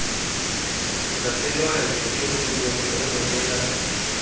zaselwandle njengomlobi olobela